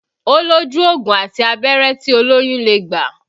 Ó lójú ògùn àti abẹ́rẹ́ tí olóyún lè gbà